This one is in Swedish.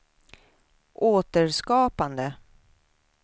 återskapande